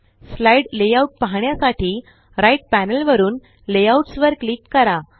slide layout पाहण्यासाठी right panel वरुन layouts वर क्लिक करा